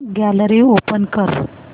gallery open कर